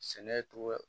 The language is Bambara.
Sɛnɛ togo